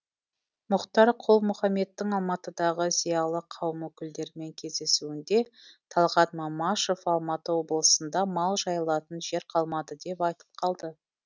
мұхтар құл мұхамедтің алматыдағы зиялы қауым өкілдерімен кездесуінде талғат мамашев алматы облысында мал жайылатын жер қалмады деп айтып қалды